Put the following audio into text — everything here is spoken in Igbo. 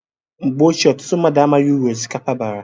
Mgbe ochie ọtụtụ mmadụ amaghị uru osikapa bara